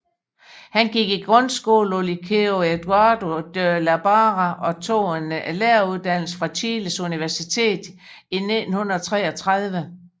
Han gik i grundskole på Liceo Eduardo de la Barra og tog en lægeuddannelse fra Chiles Universitet i 1933